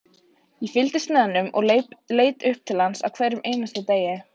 Ég fylgdist með honum og leit upp til hans á hverjum einasta degi,